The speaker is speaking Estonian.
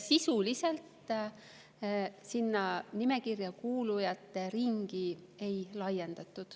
Sisuliselt sinna nimekirja kuulujate ringi ei laiendatud.